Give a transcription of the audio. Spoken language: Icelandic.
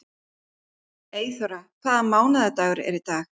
Eyþóra, hvaða mánaðardagur er í dag?